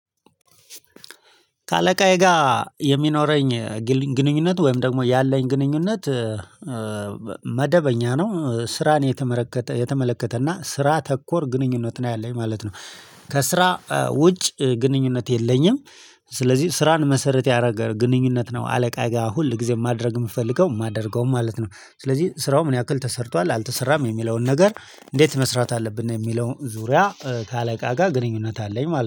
ከአለቃዬ ጋር የሚኖረኝ ግል ግንኙነት ወይም ደግሞ ያለኝ ግንኙነት መደበኛ ነው ስራን የተመለከተ የተመለከተና ስራ ተኮር ግንኙነት ነው ያለኝ ማለት ነው። ከስራ ውጭ ግንኙነት የለኝም። ስለዚህ ስራን መሰረት ያደረገ ግንኙነት ነው አለቃ ጋር ሁል ጊዜ ማድረግ የምፈልገው የማደርገውም ማለት ነው። ስለዚህ ስራው ምን ያክል ተሰርቷል አልተሰራም የሚለውን ነገር እንዴት መስራት አለብን የሚለውን ዙሪያ ከአለቃ ጋር ግንኙነት አለኝ